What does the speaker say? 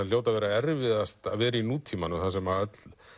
hljóti að vera erfiðast að vera í nútímanum þar sem